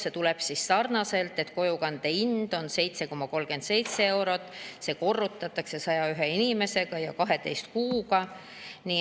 See: kojukande hind on 7,37 eurot, see korrutatakse 101 inimesega ja 12 kuuga.